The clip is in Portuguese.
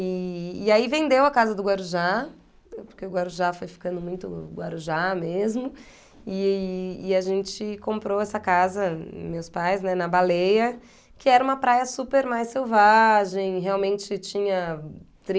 E e aí vendeu a casa do Guarujá, porque o Guarujá foi ficando muito Guarujá mesmo, e e a gente comprou essa casa, meus pais, né, na Baleia, que era uma praia super mais selvagem, realmente tinha